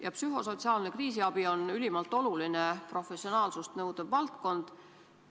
Ja psühhosotsiaalne kriisiabi on ülimalt oluline, professionaalsust nõudev valdkond.